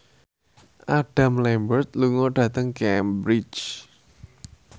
Adam Lambert lunga dhateng Cambridge